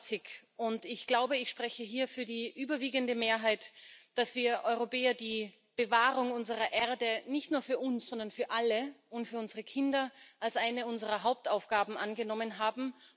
25. Ich glaube, ich spreche hier für die überwiegende Mehrheit, dass wir Europäer die Bewahrung unserer Erde nicht nur für uns, sondern für alle und für unsere Kinder als eine unserer Hauptaufgaben angenommen haben.